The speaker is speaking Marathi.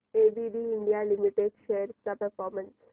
एबीबी इंडिया लिमिटेड शेअर्स चा परफॉर्मन्स